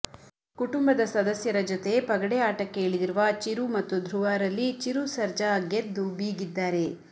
ಕುಟುಂಬದ ಸದಸ್ಯರ ಜೊತೆ ಪಗಡೆ ಆಟಕ್ಕೆ ಇಳಿದಿರುವ ಚಿರು ಮತ್ತು ಧ್ರುವರಲ್ಲಿ ಚಿರು ಸರ್ಜಾ ಗೆದ್ದು ಬೀಗಿದ್ದಾರೆ